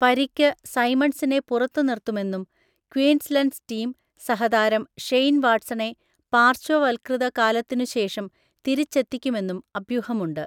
പരിക്ക് സൈമണ്ട്‌സിനെ പുറത്തുനിര്‍ത്തുമെന്നും ക്വീൻസ്‌ലൻഡ്‌സ് ടീം സഹതാരം ഷെയ്ൻ വാട്‌സണെ പാര്‍ശ്വവത്കൃതകാലത്തിനുശേഷം തിരിച്ചെത്തിക്കുമെന്നും അഭ്യൂഹമുണ്ട്.